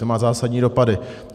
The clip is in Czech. To má zásadní dopady.